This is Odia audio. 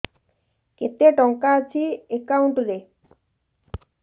କେତେ ଟଙ୍କା ଅଛି ଏକାଉଣ୍ଟ୍ ରେ